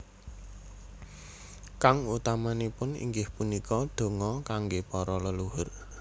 Kang utamanipun inggih punika donga kangge para leluhur